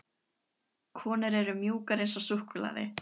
Konur eru mjúkar eins og súkkulaði.